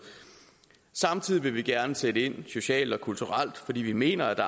samtidig vil vi gerne sætte ind socialt og kulturelt fordi vi mener at